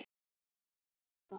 Hefur kannski engan áhuga.